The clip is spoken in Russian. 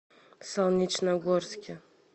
солнечногорске